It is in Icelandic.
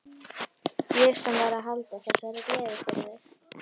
Ég sem var að halda þessa gleði fyrir þig!